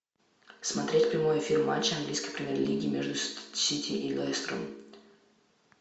смотреть прямой эфир матча английской премьер лиги между сити и лестером